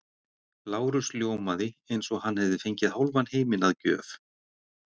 Lárus ljómaði eins og hann hefði fengið hálfan heiminn að gjöf.